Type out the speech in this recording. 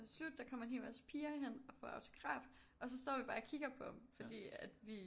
Slut der kommer en helt masse piger hen og får autografer og så står vi bare og kigger på ham fordi at vi